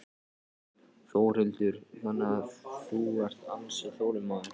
Þórhildur: Þannig að þú ert ansi þolinmóður?